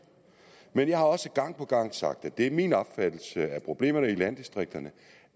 jeg har også gang på gang sagt at det er min opfattelse at problemerne i landdistrikterne